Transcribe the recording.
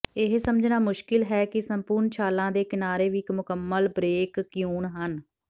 ਇਹ ਸਮਝਣਾ ਮੁਸ਼ਕਿਲ ਹੈ ਕਿ ਸੰਪੂਰਣ ਛਾਲਾਂ ਦੇ ਕਿਨਾਰੇ ਵੀ ਇਕ ਮੁਕੰਮਲ ਬ੍ਰੇਕ ਕਯੂਨ ਹਨ